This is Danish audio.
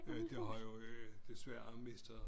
Det har jo desværre mistet